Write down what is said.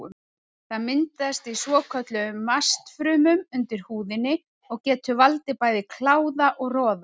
Það myndast í svokölluðum mastfrumum undir húðinni og getur valdið bæði kláða og roða.